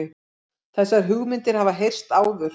Þessar hugmyndir hafa heyrst áður